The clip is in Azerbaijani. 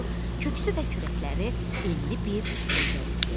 Köksü və kürəkləri enli bir qoca idi.